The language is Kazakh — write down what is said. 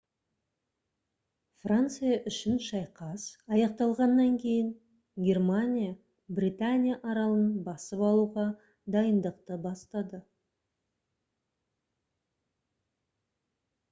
франция үшін шайқас аяқталғаннан кейін германия британия аралын басып алуға дайындықты бастады